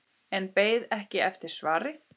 En beið ekki eftir svari.